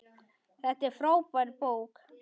Þetta er frábær bók.